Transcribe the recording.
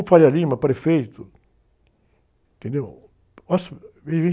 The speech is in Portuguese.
prefeito, entendeu?